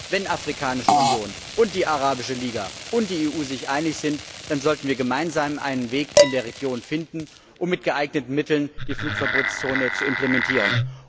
Das heißt, wenn die Afrikanische Union und die Arabische Liga und die EU sich einig sind, sollten wir gemeinsam einen Weg in der Region finden, um mit geeigneten Mitteln die Flugverbotszone zu implementieren.